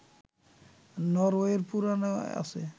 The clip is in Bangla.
নরওয়ের পুরাণে আছে